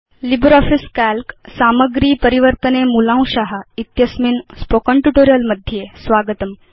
LibreOffice Calc सामग्री परिवर्तने मूलांशा इत्यस्मिन् स्पोकेन ट्यूटोरियल् मध्ये स्वागतम्